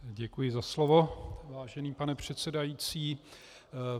Děkuji za slovo, vážený pane předsedající.